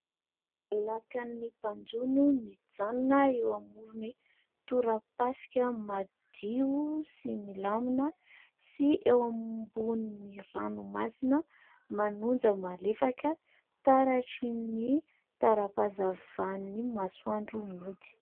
Lakan'ny mpanjono mijanona eo amoron'ny torapaska madio sy milamina sy eo ambonin'ny ranomasina manonja malefaka taratry ny taram-pahazavan'ny masoandro mody.